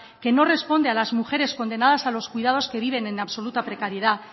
que no responde a las mujeres condenadas a los cuidados que viven en absoluta precariedad